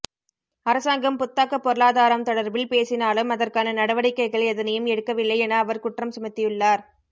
அரசாங்கம் புத்தாக்க பொருளாதாரம் தொடர்பில் பேசினாலும் அதற்கான நடவடிக்கைகள் எதனையும் எடுக்கவில்லை என அவர் குற்றம் சுமத்தியுள்ளார்